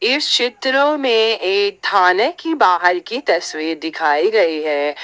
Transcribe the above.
इस क्षेत्र में एक थाने की बाहर की तस्वीर दिखाई गई है।